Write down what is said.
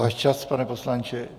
Váš čas, pane poslanče.